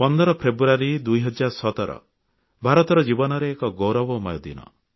15 ଫେବୃୟାରୀ 2017 ଭାରତର ଜୀବନରେ ଏକ ଗୌରବମୟ ଦିନ